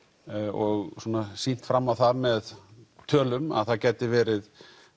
og svona sýnt fram á það með tölum að það gæti verið